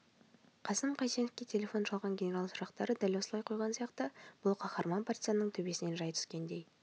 қасым қайсеновке телефон шалған генерал сұрақты дәл осылай қойған сияқты бұл қаһарман партизанның төбесінен жай түскендей